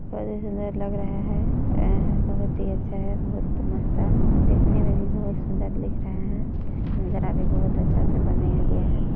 बहुत ही अच्छा है बहुत मस्त है दिखने में भी बहुत सुन्दर दिख रहे हैं इसकी नजारा भी बहुत अच्छे से बनाया गया है।